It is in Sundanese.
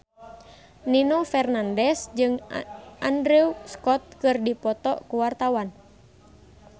Nino Fernandez jeung Andrew Scott keur dipoto ku wartawan